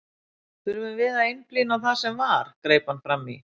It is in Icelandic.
Þurfum við að einblína á það sem var, greip hann fram í.